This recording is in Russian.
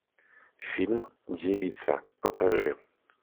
фильм девица покажи